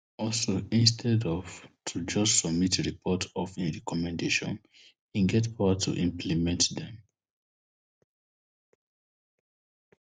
also instead of to just submit report of im recommendation e get power to implement dem